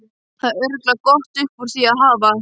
Það er örugglega gott upp úr því að hafa.